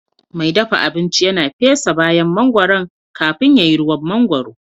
Mai dafa abinci yana fesa bayan mangoron kafin ya yi ruwan mangwaro